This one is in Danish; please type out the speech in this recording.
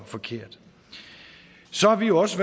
forkert så har vi også